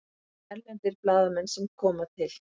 Erlendir blaðamenn sem koma til